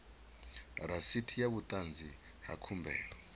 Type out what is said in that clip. rasiti sa vhuṱanzi ha khumbelo